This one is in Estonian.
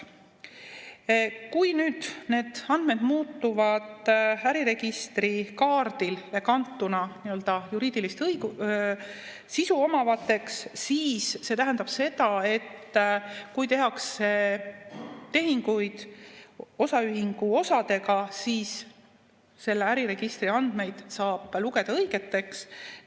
Kui nüüd need andmed muutuvad äriregistrikaardile kantuna nii-öelda juriidilist sisu omavateks, siis see tähendab seda, et kui tehakse tehinguid osaühingu osadega, siis selle äriregistri andmeid saab lugeda õigeteks.